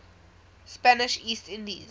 spanish east indies